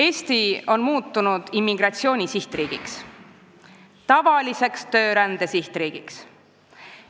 Eesti on muutunud immigratsiooni sihtriigiks, tavaliseks töörände sihtriigiks.